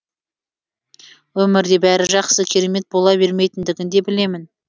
өмірде бәрі жақсы керемет бола бермейтіндігін де білемін